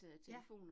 Ja